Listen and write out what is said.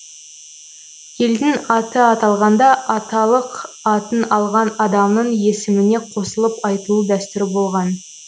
елдің аты аталғанда аталық атын алған адамның есіміне қосылып айтылу дәстүрі болған